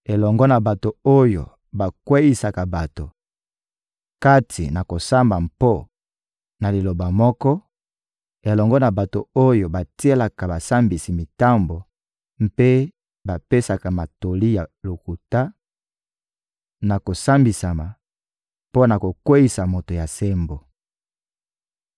elongo na bato oyo bakweyisaka bato kati na kosamba mpo na liloba moko, elongo na bato oyo batielaka basambisi mitambo mpe bapesaka matatoli ya lokuta, na kosambisama, mpo na kokweyisa moto ya sembo.